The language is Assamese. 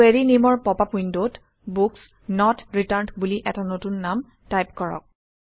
কুৱেৰি নেমৰ পপআপ উইণ্ডত বুক্স নত ৰিটাৰ্ণ্ড বুলি এটা নতুন নাম টাইপ কৰক